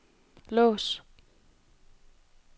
lås